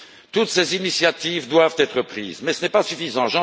Toutes ces initiatives doivent être prises, mais ce n'est pas suffisant.